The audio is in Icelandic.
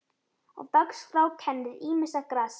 Á dagskrá kennir ýmissa grasa.